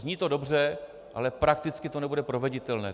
Zní to dobře, ale prakticky to nebude proveditelné.